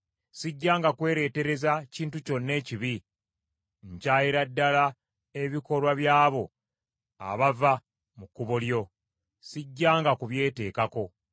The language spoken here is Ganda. Sijjanga kwereetereza kintu kyonna ekibi. Nkyayira ddala ebikolwa by’abo abava mu kkubo lyo; sijjanga kubyeteekako.